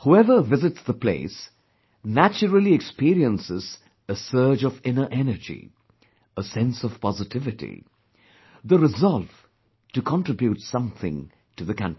Whoever visits the place, naturally experiences a surge of inner energy, a sense of positivity; the resolve to contribute something to the country